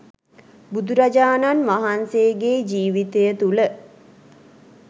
බුදුරජාණන් වහන්සේගේ ජීවිතය තුළ